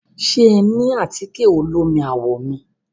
Ṣe ẹ ní àtíkẹ̀ olómi àwọ̀ mi?